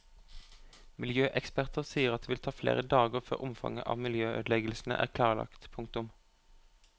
Miljøeksperter sier at det vil ta flere dager før omfanget av miljøødeleggelsene er klarlagt. punktum